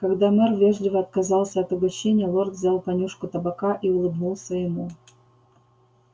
когда мэр вежливо отказался от угощения лорд взял понюшку табака и улыбнулся ему